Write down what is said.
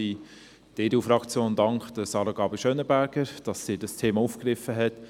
Die EDU-Fraktion dankt Sarah Gabi Schönenberger, dass sie dieses Thema aufgegriffen hat.